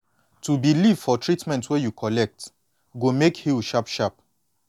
to believe for treatment wey you collect go make heal sharp sharp